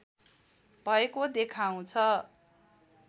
भएको देखाउँछ